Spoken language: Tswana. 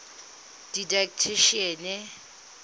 didactician